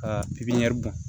Ka pipiniyɛri bɔn